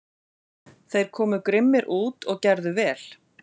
Þeir komu grimmir út og gerðu vel.